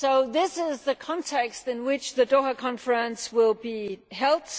This is the context in which the Doha Conference will be held.